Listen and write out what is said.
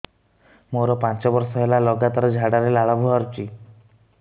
ମୋରୋ ପାଞ୍ଚ ବର୍ଷ ହେଲା ଲଗାତାର ଝାଡ଼ାରେ ଲାଳ ବାହାରୁଚି